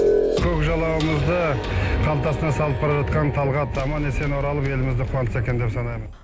көк жалауымызды қалтасына салып бара жатқан талғат аман есен оралып елімізді қуантса екен деп санаймын